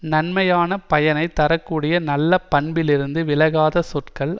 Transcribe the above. நன்மையான பயனை தர கூடிய நல்ல பண்பிலிருந்து விலகாத சொற்கள்